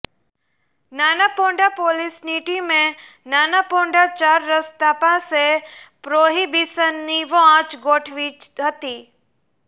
નાનાપોંઢા પોલીસની ટીમે નાનાપોંઢા ચાર રસ્તા પાસે પ્રોહીબીશનની વોચ ગોઠવી હતી